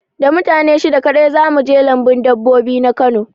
Da mutane shida kaɗai za mu je lambun dabbobi na Kano